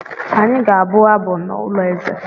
Anyị ga-abụ abụ n’ụlọ eze.